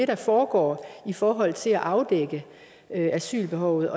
der foregår i forhold til at afdække asylbehovet